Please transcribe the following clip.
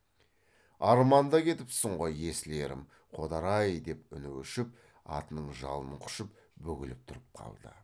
арманда кетіпсің ғой есіл ерім қодар ай деп үні өшіп атының жалын құшып бүгіліп тұрып қалды